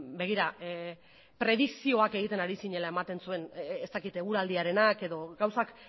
begira predikzioak egiten ari zinela ematen zuen ez dakit eguraldiarenak edo gauzak